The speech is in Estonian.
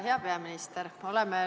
Hea peaminister!